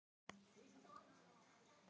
Ekki skal ég hafa á móti því að þú hjálpir til.